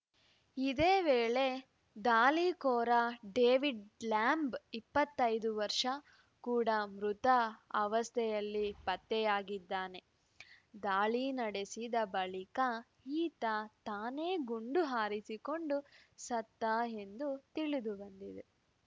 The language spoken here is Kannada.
ಇದೇ ವೇಳೆ ದಾಳಿಕೋರ ಡೇವಿಡ್‌ ಲ್ಯಾಂಬ್‌ ಇಪ್ಪತ್ತೈದು ಕೂಡ ಮೃತ ಅವಸ್ಥೆಯಲ್ಲಿ ಪತ್ತೆಯಾಗಿದ್ದಾನೆ ದಾಳಿ ನಡೆಸಿದ ಬಳಿಕ ಈತ ತಾನೇ ಗುಂಡು ಹಾರಿಸಿಕೊಂಡು ಸತ್ತ ಎಂದು ತಿಳಿದುಬಂದಿದೆ